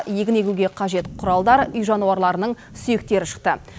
егін егуге қажет құралдар үй жануарларының сүйектері шықты